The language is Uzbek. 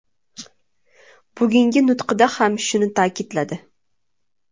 Bugungi nutqida ham shuni ta’kidladi.